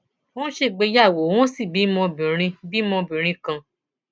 wọn ṣègbéyàwó wọn sì bímọ obìnrin bímọ obìnrin kan